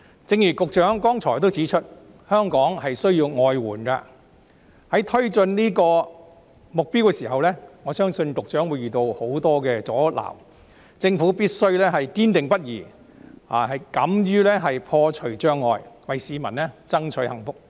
正如局長剛才指出，香港需要外援，在推進這個目標的時候，我相信局長會遇到很多阻撓，政府必須堅定不移，敢於破除障礙，為市民爭取幸福。